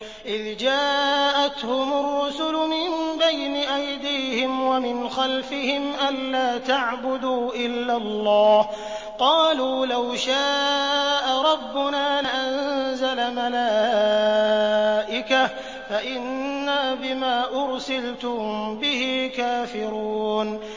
إِذْ جَاءَتْهُمُ الرُّسُلُ مِن بَيْنِ أَيْدِيهِمْ وَمِنْ خَلْفِهِمْ أَلَّا تَعْبُدُوا إِلَّا اللَّهَ ۖ قَالُوا لَوْ شَاءَ رَبُّنَا لَأَنزَلَ مَلَائِكَةً فَإِنَّا بِمَا أُرْسِلْتُم بِهِ كَافِرُونَ